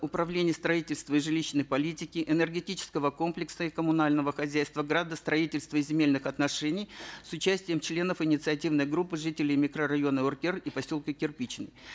управления строительства и жилищной политики энергетического комплекса и коммунального хозяйства градостроительства и земельных отношений с участием членов инициативной группы жителей микрорайона уркер и поселка кирпичный